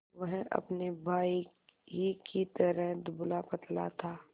वह अपने भाई ही की तरह दुबलापतला था